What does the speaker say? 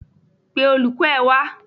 Pe olùkọ́ ẹ wá.